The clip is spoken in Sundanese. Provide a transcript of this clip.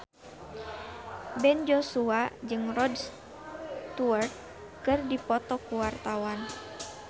Ben Joshua jeung Rod Stewart keur dipoto ku wartawan